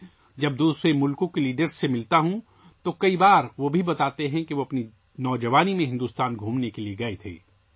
جب میں دوسرے ممالک کے لیڈروں سے ملتا ہوں تو کئی بار وہ یہ بھی بتاتے ہیں کہ وہ اپنی جوانی میں بھارت کے دورے پر گئے تھے